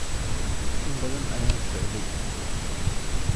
In badan ayaan socday